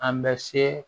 An bɛ se